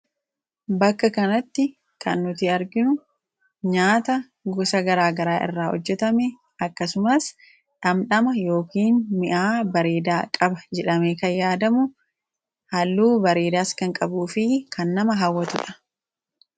Bakka kanatti kan nuti arginu nyaata gosa garaa garaa irraa hojjetame, akkasumas dhandhama bareedaa qaba yookiin mi'aawaadha jedhamee kan yaadamu kalaanqala supheetti hojjetamedha. Kalaanqalli kunis nama hawwata.